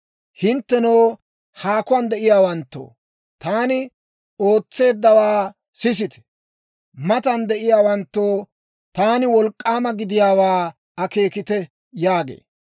Hinttenoo, haakuwaan de'iyaawanttoo, taani ootseeddawaa sisite; matan de'iyaawanttoo, taani wolk'k'aama gidiyaawaa akeekite» yaagee.